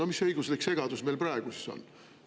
No mis õiguslik segadus meil praegu siis on?